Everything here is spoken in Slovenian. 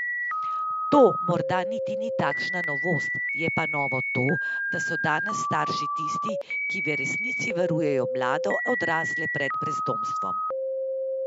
To morda niti ni takšna novost, je pa novo to, da so danes starši tisti, ki v resnici varujejo mlade odrasle pred brezdomstvom.